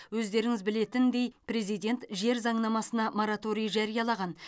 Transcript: өздеріңіз білетіндей президент жер заңнамасына мораторий жариялаған